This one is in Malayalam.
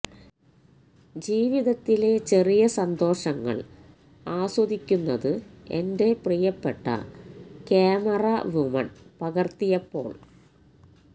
ജീവിതത്തിലെ ചെറിയ സന്തോഷങ്ങള് ആസ്വദിക്കുന്നത് എന്റെ പ്രിയപ്പെട്ട ക്യാമറ വുമണ് പകര്ത്തിയപ്പോള്